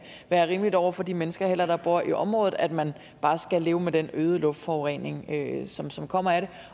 være rimeligt over for de mennesker der bor i området at man bare skal leve med den øgede luftforurening som som kommer af det